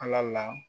Ala la